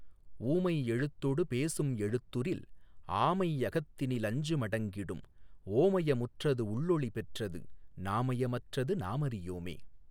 ஊமை யெழுத்தொடு பேசுந் எழுத்துறில் ஆமை யகத்தினி லஞ்சு மடங்கிடும் ஓமய முற்றது உள்ளொளி பெற்றது நாமய மற்றது நாமறி யோமே.